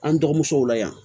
An dɔgɔmusow la yan